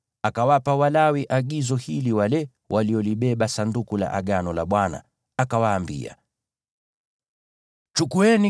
akawapa Walawi wale waliolibeba Sanduku la Agano la Bwana agizo hili, akawaambia: